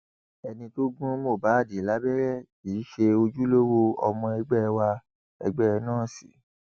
ẹni tó gún mohbad lábẹrẹ kì í ṣe ojúlówó ọmọ ẹgbẹ wa ẹgbẹ nọọsì